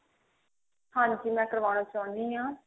ਹਾਂਜੀ ਮੈਂ ਕਰਵਾਉਣਾ ਚਾਹੁੰਦੀ ਹਾਂ